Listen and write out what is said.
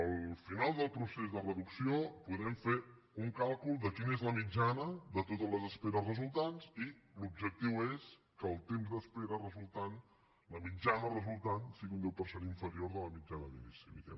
al final del procés de reducció podrem fer un càlcul de quina és la mitjana de totes les esperes resultants i l’objectiu és que el temps d’espera resultant la mitjana resultant sigui un deu per cent inferior a la mitjana d’inici diguem ne